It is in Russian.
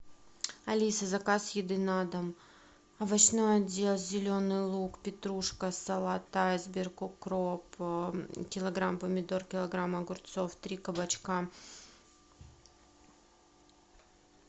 алиса заказ еды на дом овощной отдел зеленый лук петрушка салат айсберг укроп килограмм помидор килограмм огурцов три кабачка